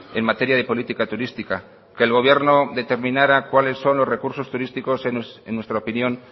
en materia de política turística que el gobierno determinara cuáles son los recursos turísticos en nuestra opinión